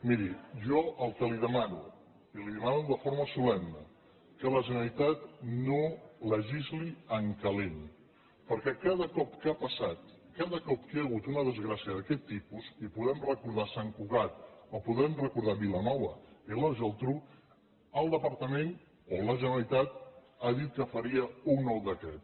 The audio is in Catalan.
miri jo el que li demano i li ho demano de forma solemne que la generalitat no legisli en calent perquè ca da cop que ha passat cada cop que hi ha hagut una desgràcia d’aquest tipus i podem recordar sant cugat o podem recordar vilanova i la geltrú el departament o la generalitat ha dit que faria un nou decret